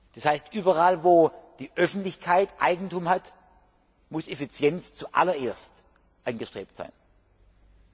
Das heißt, überall, wo die Öffentlichkeit Eigentum hat, muss Effizienz zuallererst angestrebt werden.